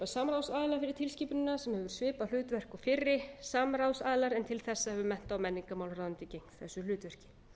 fyrir tilskipunina sem hefur svipað hlutverk og fyrri samráðsaðilar en til þessa hefur mennta og menningarmálaráðuneytið gegnt þessu hlutverki